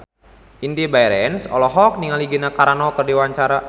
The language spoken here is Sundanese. Indy Barens olohok ningali Gina Carano keur diwawancara